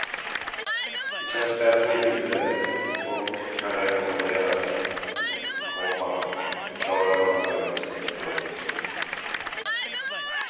Det känns bättre i huvudet och kan rekommenderas, komma förklarade hon nöjd. punkt